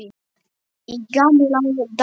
Í gamla daga.